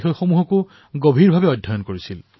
তেওঁ প্ৰতিটো কথাকে সুক্ষ্মভাৱে পৰ্যৱেক্ষণ কৰিছিল